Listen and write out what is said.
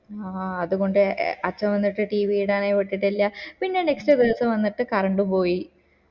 ആഹ് അത് കൊണ്ട് അച്ഛൻ വന്നിട്ട് tv ഇടാനേ വിട്ടിട്ടില്ല പിന്നെ next ദിവസം വന്നിട്ട് കറണ്ട് പോയി